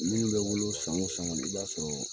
Minnu bɛ wolo san o san kɔni, i b'a sɔrɔ